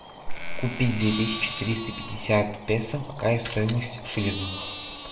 купить две тысячи триста пятьдесят песо какая стоимость в шиллингах